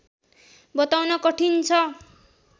बताउन कठिन छ